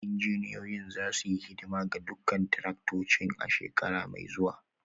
Injiniyoyin za su yi hidima ga dukkan taraktocin a shekara mai zuwa